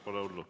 Pole hullu.